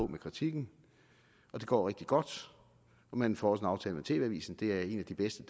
med kritikken det går rigtig godt og man får også en aftale med tv avisen så det er en af de bedste